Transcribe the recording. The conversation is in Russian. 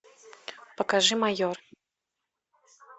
покажи майор